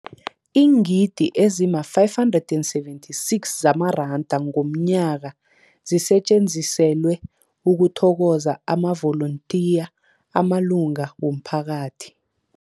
Iingidi ezima-576 zamaranda ngomnyaka zisetjenziselwa ukuthokoza amavolontiya amalunga womphakathi.